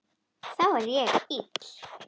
Þá er ég ill.